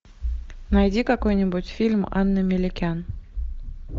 найди какой нибудь фильм анны меликян